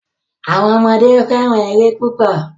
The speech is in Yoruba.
Awọn ọmọde fẹ́ràn ère púpò.